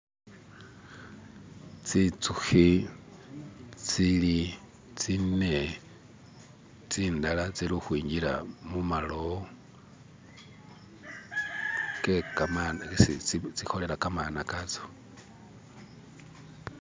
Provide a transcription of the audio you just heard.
tsitsukhi tsili tsine tsindala tsili ukhwingila mumalowo tsekamana isi tsikholela kamana kayo.